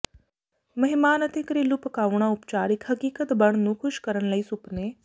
ਮਹਿਮਾਨ ਅਤੇ ਘਰੇਲੂ ਪਕਾਉਣਾ ਉਪਚਾਰ ਇੱਕ ਹਕੀਕਤ ਬਣ ਨੂੰ ਖੁਸ਼ ਕਰਨ ਲਈ ਸੁਪਨੇ